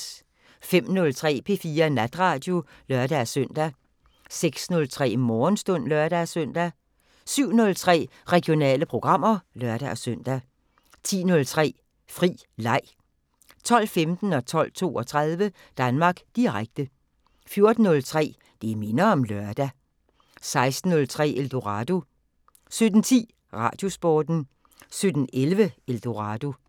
05:03: P4 Natradio (lør-søn) 06:03: Morgenstund (lør-søn) 07:03: Regionale programmer (lør-søn) 10:03: Fri leg 12:15: Danmark Direkte 12:32: Danmark Direkte 14:03: Det minder om lørdag 16:03: Eldorado 17:10: Radiosporten 17:11: Eldorado